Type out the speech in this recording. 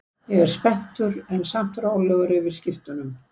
Ég er spenntur en samt rólegur yfir skiptunum.